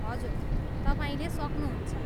हजुर, तपाईँले सक्नुहुन्छ।